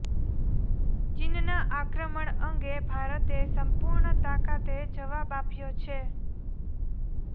ચીનના આક્રમણ અંગે ભારતે સંપૂર્ણ તાકાતે જવાબ આપ્યો છે